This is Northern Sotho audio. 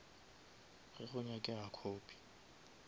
ge go nyakega copy